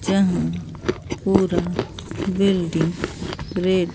यहां पूरा building red --